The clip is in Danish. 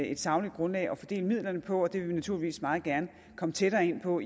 et sagligt grundlag at fordele midlerne på og det vil vi naturligvis meget gerne komme tættere ind på